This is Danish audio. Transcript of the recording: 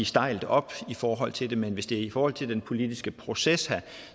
stejlt op i forhold til det men hvis det er i forhold til den politiske proces her